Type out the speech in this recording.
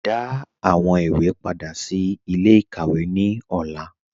Dá àwọn ìwé pádà sí ilẹ̀-ikàwé ní ọlà